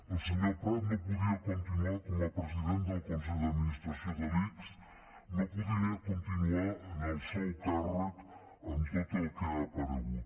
el senyor prat no podia continuar com a president del consell d’administració de l’ics no podia continuar en el seu càrrec amb tot el que ha aparegut